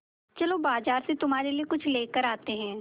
चलो बाज़ार से तुम्हारे लिए कुछ लेकर आते हैं